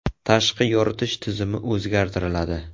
Tashqi yoritish tizimi o‘zgartiriladi.